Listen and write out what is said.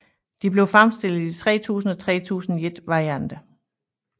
De blev fremstillet i 3000 og 3001 varianter